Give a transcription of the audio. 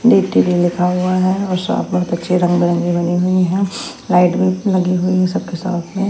लिखा हुआ है साफ बहुत अच्छी रंग-बिरंगी बनी हुई है लाइट भी लगी हुई है सबके साथ --